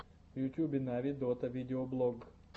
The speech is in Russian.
в ютубе нави дота видеоблог